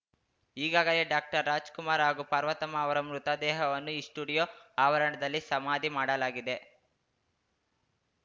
ಈಗಾಗಲೇ ಡಾಕ್ಟರ್ರಾಜ್‌ಕುಮಾರ್‌ ಹಾಗೂ ಪಾರ್ವತಮ್ಮ ಅವರ ಮೃತದೇಹವನ್ನು ಈ ಸ್ಟುಡಿಯೋ ಆವರಣದಲ್ಲಿ ಸಮಾಧಿ ಮಾಡಲಾಗಿದೆ